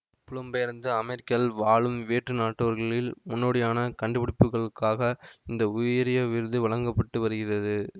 புலம்பெயர்ந்து அமெரிக்காவில் வாழும் வேற்று நாட்டவர்களில் முன்னோடியான கண்டுபிடிப்புக்களுக்காக இந்த உயரிய விருது வழங்க பட்டு வருகிறது